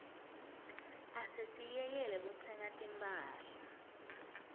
asesiyekele kutsenga timphahla